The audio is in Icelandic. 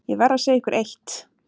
Ég verð að segja ykkur eitt.